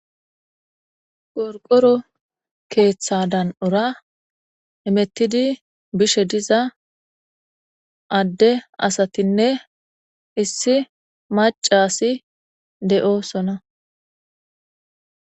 Qorqoro keththa dan"ora hemetidi bishe diza ade asatinne issi macasi de'osonna